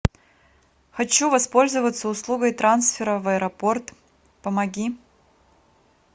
хочу воспользоваться услугой трансфера в аэропорт помоги